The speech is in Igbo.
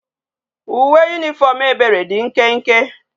Uwe uniform ebere di nkenke